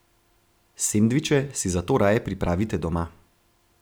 Sendviče si zato raje pripravite doma.